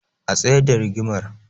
A tsayar da rigimar